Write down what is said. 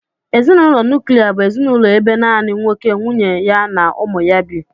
Ezinụlọ nuklia bụ ezinụlọ ebe naanị nwoke ,nwunye ya na ụmụ ya bi